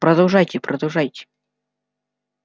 продолжайте продолжайте